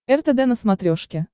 ртд на смотрешке